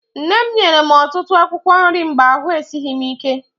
Nne m nyere m ọtụtụ akwụkwọ nri mgbe ahụ esighị m ike.